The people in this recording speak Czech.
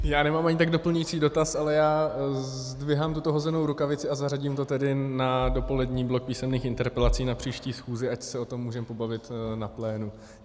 Já nemám ani tak doplňující dotaz, ale já zdvihám tuto hozenou rukavici a zařadím to tedy na dopolední blok písemných interpelací na příští schůzi, ať se o tom můžeme pobavit na plénu.